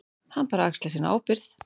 Hann bara axlar sína ábyrgð.